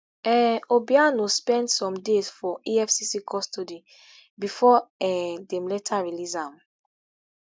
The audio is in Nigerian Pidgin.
um obiano spend some days for efcc custody before um dem later release am